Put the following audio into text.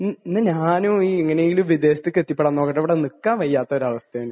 മ്മ്. എന്നാൽ ഞാനും എങ്ങനെയെങ്കിലും വിദേശത്തേക്ക് എത്തിപ്പെടാൻ നോക്കട്ടെ. ഇവിടെ നിക്കാൻ വയ്യാത്ത ഒരു അവസ്ഥയാണ്.